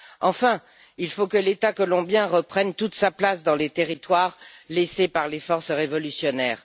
Enfin, il faut que l'État colombien reprenne toute sa place dans les territoires laissés par les forces révolutionnaires.